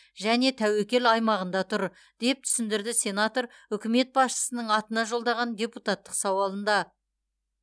және тәуекел аймағында тұр деп түсіндірді сенатор үкімет басшысының атына жолдаған депутаттық сауалында